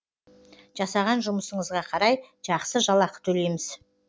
жасаған жұмысыңызға қарай жақсы жалақы төлейміз